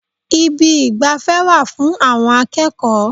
Ibi ìgbafẹ́ wà fún àwọn akẹ́kọ̀ọ́.